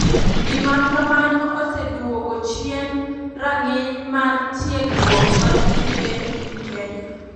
Gima kamano oseduogo chien ranginy mar tiegruok mar tuke e piny kenya.